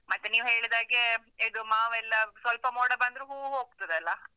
ಮತ್ತೆ ನೀವು ಹೇಳಿದ ಹಾಗೆ, ಇದು ಮಾವೆಲ್ಲ ಸ್ವಲ್ಪ ಮೋಡ ಬಂದ್ರೂ ಹೂವು ಹೋಗ್ತದಲ್ಲ?